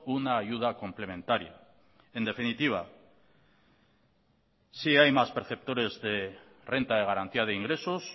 una ayuda complementaria en definitiva si hay más perceptores de renta de garantía de ingresos